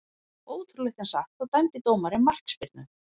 Ótrúlegt en satt, þá dæmdi dómarinn markspyrnu.